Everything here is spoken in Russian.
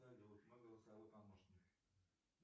салют мой голосовой помощник